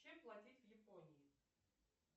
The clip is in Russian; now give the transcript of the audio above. чем платить в японии